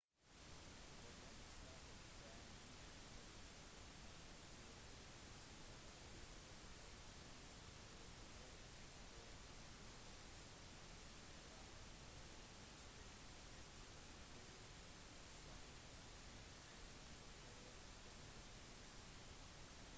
problemet startet den 1. januar da titalls lokale beboere begynte å klage til postkontoret i obanazawa om at de ikke hadde fått sine tradisjonelle nyttårskort som vanlig